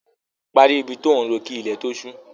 Parí ibi tí ò ń ro kí ilẹ̀ tó ṣú!